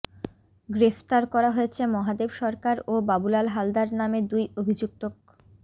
গ্রেফতার করা হয়েছে মহাদেব সরকার ও বাবুলাল হালদার নামে দুই অভিযুক্তক